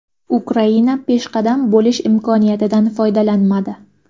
Ukraina peshqadam bo‘lish imkoniyatidan foydalanmadi.